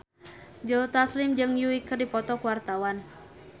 Joe Taslim jeung Yui keur dipoto ku wartawan